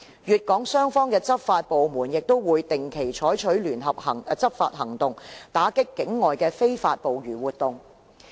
粵港雙方的執法部門亦會定期採取聯合執法行動，打擊跨境的非法捕魚活動。